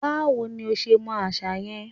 Báwo ní o ṣe mọ àṣà yẹn?